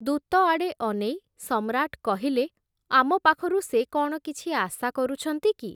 ଦୂତଆଡ଼େ ଅନେଇ ସମ୍ରାଟ୍ କହିଲେ, ଆମପାଖରୁ ସେ କ’ଣ କିଛି ଆଶା କରୁଛନ୍ତି କି ।